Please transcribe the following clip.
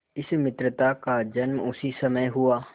इस मित्रता का जन्म उसी समय हुआ